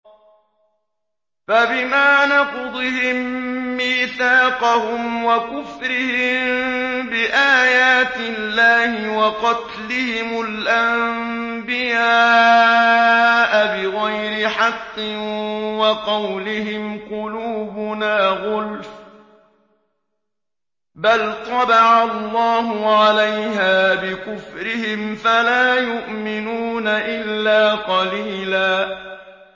فَبِمَا نَقْضِهِم مِّيثَاقَهُمْ وَكُفْرِهِم بِآيَاتِ اللَّهِ وَقَتْلِهِمُ الْأَنبِيَاءَ بِغَيْرِ حَقٍّ وَقَوْلِهِمْ قُلُوبُنَا غُلْفٌ ۚ بَلْ طَبَعَ اللَّهُ عَلَيْهَا بِكُفْرِهِمْ فَلَا يُؤْمِنُونَ إِلَّا قَلِيلًا